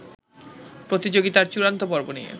প্রতিযোগিতার চূড়ান্ত পর্ব নিয়ে